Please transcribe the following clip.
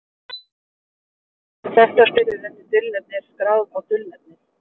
Rit höfunda sem þekktastir eru undir dulnefni eru skráð á dulnefnið.